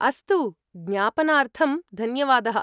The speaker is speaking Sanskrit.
अस्तु, ज्ञापनार्थं धन्यवादः।